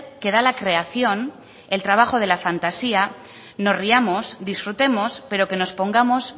que da la creación el trabajo de la fantasía nos riamos disfrutemos pero que nos pongamos